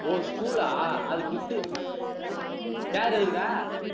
ஓ stool ஆ அது gift உ chair இருக்குதா